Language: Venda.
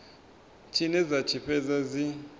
tshine dza tshi fhedza dzi